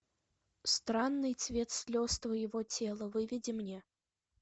странный цвет слез твоего тела выведи мне